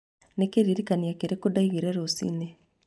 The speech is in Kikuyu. Nĩ kĩririkania kĩrĩkũ ndaigĩire rũciũ?